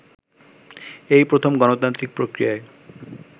এই প্রথম গণতান্ত্রিক প্রক্রিয়ায়